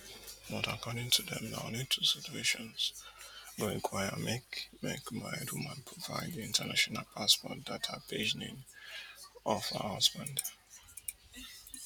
but according to dem na only two situations go require make make married woman provide di international passport data pagenin of her husband